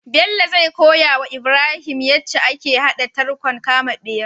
Bello zai koyawa ibrahim yace ake hada tarkon kama bera